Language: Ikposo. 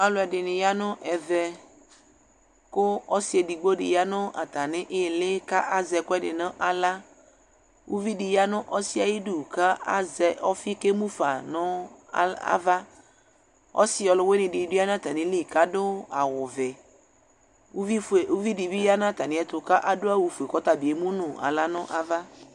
Aluɛdini ya nu ɛvɛ ku ɔsi edigbo ya nu atamili ku asɛ ɛkuɛdi nu aɣla ku uvidi yanu ɔsiɛ ayidu ku azɛ ɔfi ku emufa nu ava ɔsi ɔluwinidibi yanu atamili ku adu awu ɔʋɛ uvidibi yanu atamiɛtu kadu awu fue kɔta bi emu nu ala nu ava